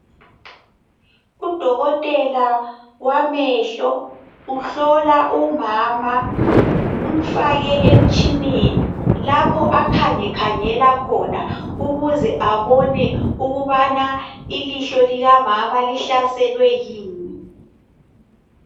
Udokotela wamehlo uhlola umama. Umfake emtshineni, lapho akhangekhangela khona ukuze abone ukubana ilihlo likamama lihlaselwe yini.